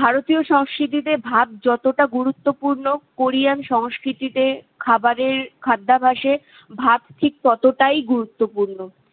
ভারতীয় সংস্কৃতিতে ভাত যতটা গুরুত্বপূর্ণ কোরিয়ান সংস্কৃতিতে খাবারের খাদ্যাবাসে ভাত ঠিক ততটাই গুরুত্বপূর্ন